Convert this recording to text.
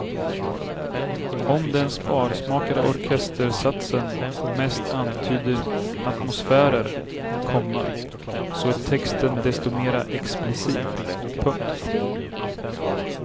Om den sparsmakade orkestersatsen mest antyder atmosfärer, komma så är texten desto mera explicit. punkt